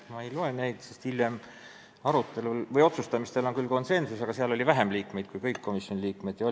Ma ei loe neid ette, sest hiljem, kui me otsuseid tegime, valitses küll konsensus, aga siis ei olnud enam kõiki komisjoni liikmeid kohal.